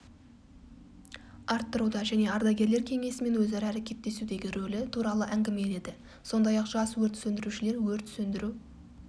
арттыруда және ардагерлер кеңесімен өзара әрекеттесудегі рөлі туралы әңгімеледі сондай-ақ жас өрт сөндірушілер өрт сөндіру